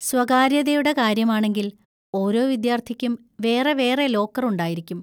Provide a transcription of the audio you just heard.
സ്വകാര്യതയുടെ കാര്യമാണെങ്കിൽ, ഓരോ വിദ്യാർത്ഥിക്കും വേറെ വേറെ ലോക്കർ ഉണ്ടായിരിക്കും.